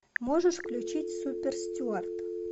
можешь включить суперстюард